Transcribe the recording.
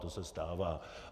To se stává.